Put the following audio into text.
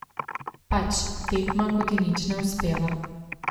Pač, tekma, ko ti nič ne uspeva.